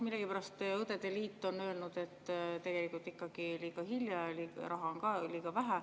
Millegipärast on õdede liit öelnud, et ikkagi liiga hilja ja raha on ka liiga vähe.